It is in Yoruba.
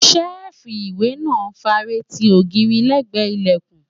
ṣẹ́ẹ̀fù ìwé náà fare ti ogiiri lẹ́gbẹ̀ẹ́ ìlẹ̀kùn